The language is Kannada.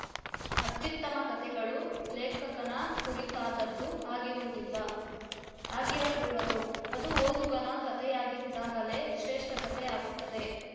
ಅತ್ಯುತ್ತಮ ಕತೆಗಳು ಲೇಖಕನ ಕುರಿತಾದ್ದದ್ದು ಆಗಿರುವುದಿಲ್ಲ ಆಗಿರಕೂಡದು ಅದು ಓದುಗನ ಕತೆಯಾಗಿದ್ದಾಗಲೇ ಶ್ರೇಷ್ಠ ಕತೆ ಆಗುತ್ತದೆ